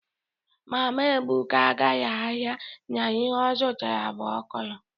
mama ebuka gara ahia na ihe o zutara bu okro